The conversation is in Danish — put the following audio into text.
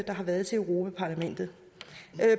har været til europa parlamentet